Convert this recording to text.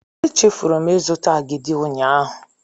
Echefuru m ịzụta agidi ụnyaahụ.